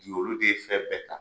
ye olu de ye fɛn bɛɛ ta